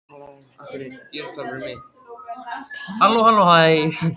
Kort þagnaði og starði stutta stund glottandi framan í Christian.